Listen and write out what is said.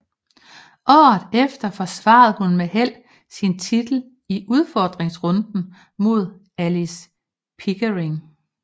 Året efter forsvarede hun med held sin titel i udfordringsrunden mod Alice Pickering